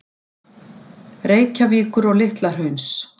Reykjavíkur og Litla-Hrauns.